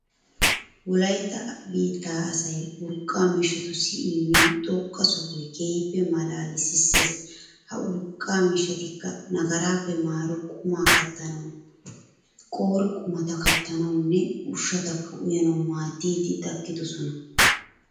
Wolaytta biittaa asay urqqa miishshatussi immiyo xoqqa sohoy keehippe maalaalissees. Ha urqqa miishshatikka nagaraappe maaro qumaa kattanawu, qoore qumata aattanawunne ushshatakka uyanawu maaddiiddi takkidosona.